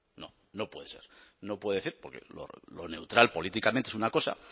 no no puede serlo no lo puede decir porque lo neutral políticamente es una cosa